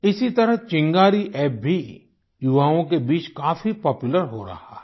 इसी तरह चिंगारी अप्प भी युवाओं के बीच काफी पॉपुलर हो रहा है